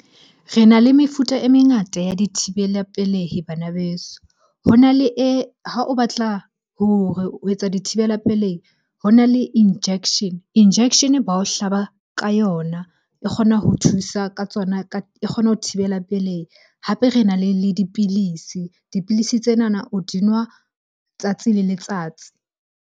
Re na le mefuta e mengata ya dithibela pelehi banabeso. Ho na le e, ha o batla ho etsa dithibela pelehi. Ho na le injection, injection bao hlaba ka yona. E kgona ho thusa ka tsona ka, e kgona ho thibela pelehi. Hape re na le dipilisi. Dipilisi tsena o di nwa tsatsi le letsatsi.